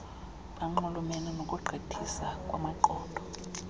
bunxulumane nokugqithisa kwamaqondo